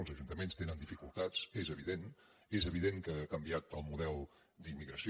els ajuntaments tenen di·ficultats és evident és evident que ha canviat el model d’immigració